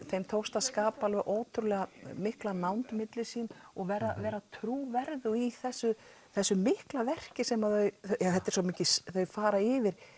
þeim tókst að skapa ótrúlega mikla nánd milli sín og vera trúverðug í þessu þessu mikla verki sem þau þau fara yfir